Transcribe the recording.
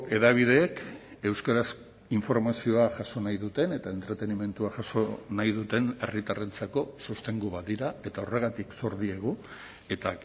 hedabideek euskaraz informazioa jaso nahi duten eta entretenimendua jaso nahi duten herritarrentzako sostengu bat dira eta horregatik zor diegu eta